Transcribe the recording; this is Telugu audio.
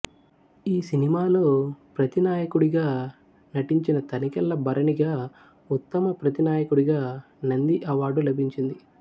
ఈ సినిమాలో ప్రతినాయకుడిగా నటించిన తనికెళ్ళ భరణిగా ఉత్తమ ప్రతినాయకుడిగా నంది అవార్డు లభించింది